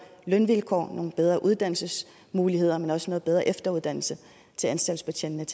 lønvilkår nogle bedre uddannelsesmuligheder men også noget bedre efteruddannelse til anstaltsbetjentene